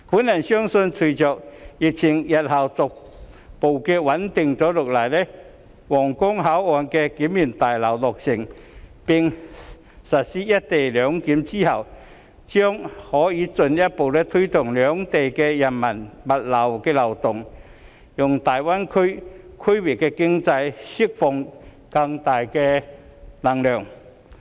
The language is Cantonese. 我相信，隨着疫情日後逐步穩定下來，皇崗口岸新聯檢大樓落成並實施"一地兩檢"後，將可以進一步推動兩地人民、物流的流動，讓大灣區區域經濟釋放更大能量。